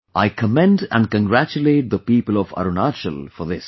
I commend and congratulate the people of Arunachal for this